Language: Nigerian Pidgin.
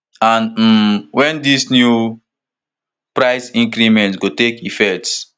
and um wen dis new price increment go take effect